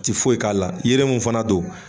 Ti foyi k'a la yiri min fana don